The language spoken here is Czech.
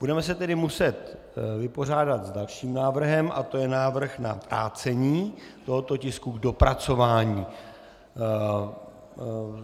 Budeme se tedy muset vypořádat s dalším návrhem a to je návrh na vrácení tohoto tisku k dopracování.